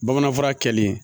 Bamanan fura kɛlen